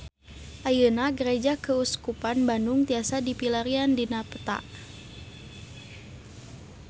Ayeuna Gereja Keuskupan Bandung tiasa dipilarian dina peta